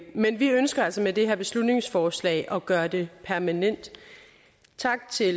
men vi ønsker altså med det her beslutningsforslag at gøre det permanent tak til